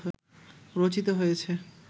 রচিত হয়েছে